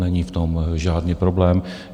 Není v tom žádný problém.